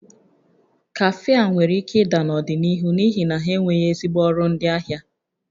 Kafe a nwere ike ịda n'ọdịnihu n'ihi na ha enweghị ezigbo ọrụ ndị ahịa